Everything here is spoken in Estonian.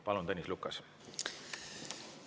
Palun, Tõnis Lukas!